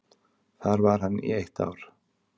Þar var hann í eitt ár.